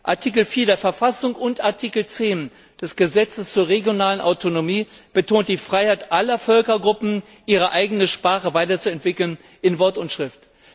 Artikel 4 der Verfassung und Artikel 10 des Gesetzes zur regionalen Autonomie betont die Freiheit aller Völkergruppen, ihre eigene Sprache weiterzuentwickeln in Wort und Schrift.